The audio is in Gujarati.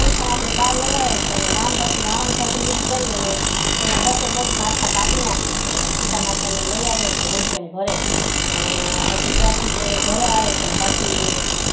પછી બાહર લઈ આવે છે ને પછી રામ પછી રાવણ સાથે યુદ્ધ કરી અને તેના દસે દસ માથા કાપી નાખે છે અને સીતામાતા ને લઇ આવેછે હેમખેમ ઘરે અને પછી ત્યાંથી તે ઘરે આવે છે પછી